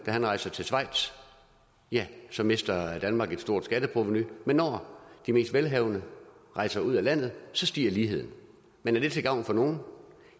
rejste til schweiz så mistede danmark et stort skatteprovenu men når de mest velhavende rejser ud af landet så stiger ligheden men er det til gavn for nogen